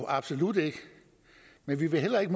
absolut ikke men vi vil heller ikke